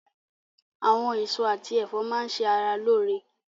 Àwọn èso àti ẹ̀fọ́ máa ṣe ara lóore.